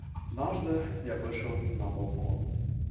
однажды я вышел на балкон